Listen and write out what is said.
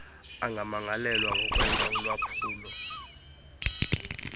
angamangalelwa ngokwenza ulwaphulo